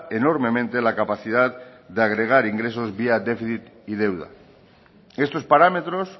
enormemente la capacidad de agregar ingresos vía déficit y deuda estos parámetros